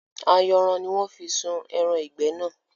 Ayanran ni wọn fi sun ẹran ìgbẹ́ náà